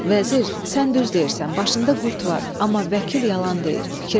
Vəzir, sən düz deyirsən, başında qurd var, amma vəkil yalan deyir.